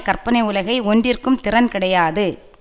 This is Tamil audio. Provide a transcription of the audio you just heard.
கற்பனை உலகை ஒன்றிற்கும் திறன் கிடையாது